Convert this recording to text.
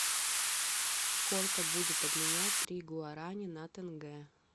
сколько будет обменять три гуарани на тенге